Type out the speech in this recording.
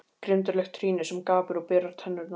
Grimmdarlegt trýni sem gapir og berar tennurnar.